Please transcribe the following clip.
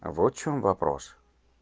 вот чём вопрос